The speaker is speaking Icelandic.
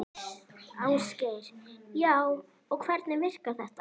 Ásgeir: Já, og hvernig virkar þetta?